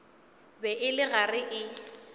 be e le gare e